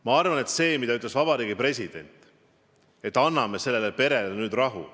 Ma arvan, et see, mida ütles meie president, et anname sellele perele nüüd rahu ...